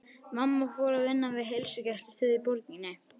Mamma fór að vinna við heilsugæslustöð í borginni.